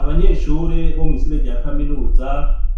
Abanyeshure bo mw'ishure rya kaminuza